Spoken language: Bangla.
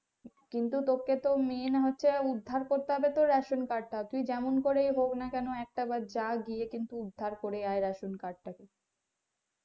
কিন্তু তোকে তো মেন হচ্ছে উদ্ধার করতে হবে তোর রেশন কার্ডটা তুই যেমন করেই হোক না কেন একটা বার যা গিয়ে কিন্তু উদ্ধার করে আই ration card কে।